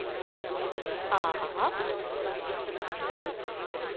ஆஹா ஓ